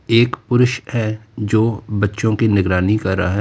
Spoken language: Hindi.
एक पुरुष है जो बच्चों की निगरानी कर रहा है।